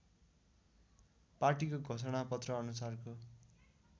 पाटीको घोषणापत्र अनुसारको